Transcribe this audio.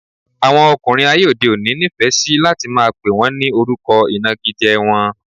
Àwọn ọkùnrin ayé òde òní nifẹ si láti máa pè wọn ní orúkọ inagije wọ́n